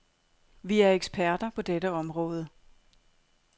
Vi er eksperter på dette område.